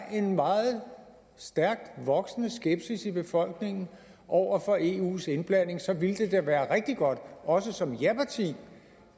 en meget stærkt voksende skepsis i befolkningen over for eus indblanding så ville det da være rigtig godt også som ja parti